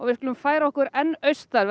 við skulum færa okkur austar